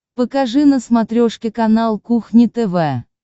покажи на смотрешке канал кухня тв